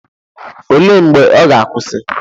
Olee mgbe ọ ga-akwụsị?